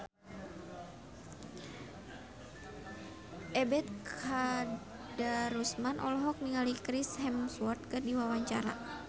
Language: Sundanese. Ebet Kadarusman olohok ningali Chris Hemsworth keur diwawancara